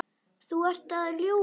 Þú ert að ljúga!